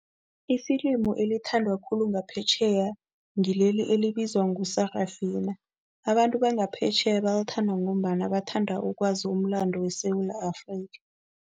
Ifilimu elithandwa khulu ngaphetjheya ngileli elibizwa ngo-Sarafina. Abantu bangaphetjheya balithanda ngombana bathanda ukwazi umlando weSewula Afrika.